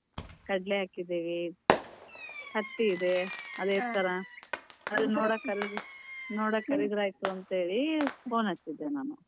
ಕಡ್ಲಿ ಹಾಕಿದೇವಿ, ಹತ್ತಿ ಇದೆ ಥರ ನೋಡಕ್ ಕರಿದ್ರೆ ಆಯಿತು ಅಂತೇಳಿ phone ಹಚ್ಚಿದ್ದೇ ನಾನು.